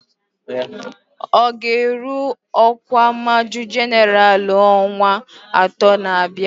Ọ ga-eru ọkwa Majọ Jenaralụ n'ọnwa atọ na-abịa